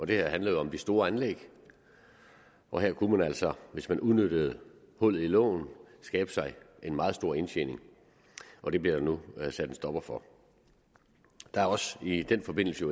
det her handler jo om de store anlæg og her kunne man altså hvis man udnyttede hullet i loven skabe sig en meget stor indtjening og det bliver der nu sat en stopper for der er også i den forbindelse